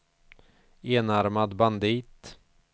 enarmad bandit